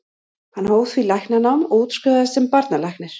Hann hóf því læknanám og útskrifaðist sem barnalæknir.